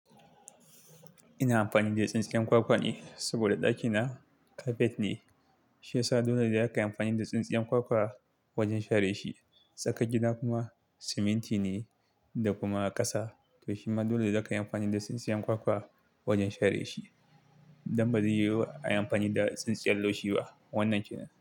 Ina amfani da tsintsiyan kwakwa ne saboda ɗakina carpet ne, shi yasa dole za kayi amfani da tsintsiyar kwakwa wajen share shi. Tsakar gida kuma siminti ne da kuma ƙasa, to shima dole ne da kayi amfani da tsintsiyan kwakwa wajen share shi. Dan ba zai yiwu a yi amfani da tsintsiyar laushi ba wannan kenan.